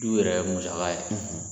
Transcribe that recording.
Du yɛrɛ ye musaka ye.